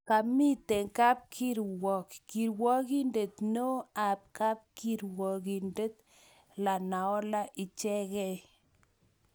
Kamitee kapkirwok, kirwogindet neoo ak kirwogindet Lenaola ichekei.